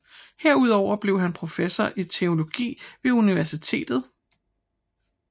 Herudover blev han professor i teologi ved universitetet